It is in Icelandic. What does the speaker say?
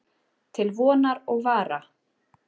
Til vonar og vara.